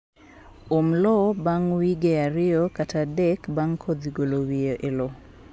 Um lowo ban wige ariyo kata adek bang kodhi golo wiye e loo.